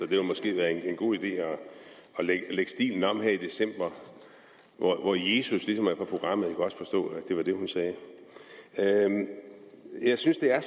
ville måske være en god idé at lægge stilen om her i december hvor jesus ligesom er på programmet jeg kunne også forstå at det var det hun sagde jeg synes at